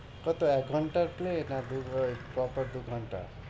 কত এক ঘন্টার play না দেবুর~ পর পর দুঘন্টা